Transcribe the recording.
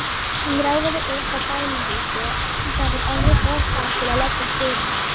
Hann ráfaði upp að bænahúsi en það var orðið of kalt til að leggjast fyrir.